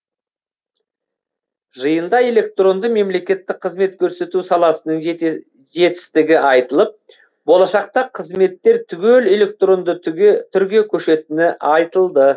жиында электронды мемлекеттік қызмет көрсету саласының жетістігі айтылып болашақта қызметтер түгел электронды түрге көшетіні айтылды